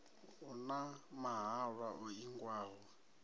hu na mahalwa o ingiwaho